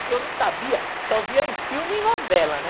Que eu não sabia, só via em filme e novela, né?